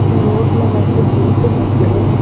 இந்த ரோட்ல வந்து ஜீப்பு நிக்குது.